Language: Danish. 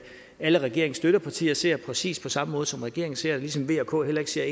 alle regeringens støttepartier ser det præcis på samme måde som regeringen ser det ligesom v og k heller ser